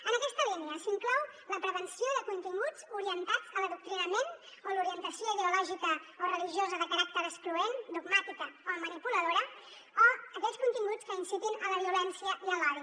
en aquesta línia s’inclou la prevenció de continguts orientats a l’adoctrinament o l’orientació ideològica o religiosa de caràcter excloent dogmàtica o manipuladora o aquells continguts que incitin a la violència i a l’odi